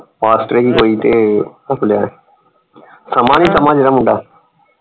Pastor ਸੀ ਕੋਈ ਤੇ ਉਹਦੇ ਕੋਲੋਂ ਲਿਆ ਸ਼ਮਾ ਨਹੀਂ ਸ਼ਮਾ ਜਿਹੜਾ ਮੁੰਡਾ।